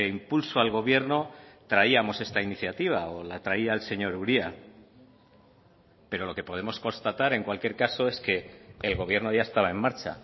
impulso al gobierno traíamos esta iniciativa o la traía el señor uria pero lo que podemos constatar en cualquier caso es que el gobierno ya estaba en marcha